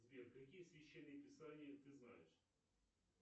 сбер какие священные писания ты знаешь